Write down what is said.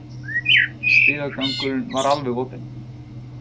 Stigagangurinn var alveg opinn